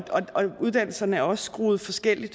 uddannelserne er også skruet forskellige